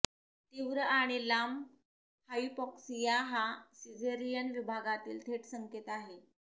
तीव्र आणि लांब हाइपॉक्सीया हा सिझेरीयन विभागातील थेट संकेत आहे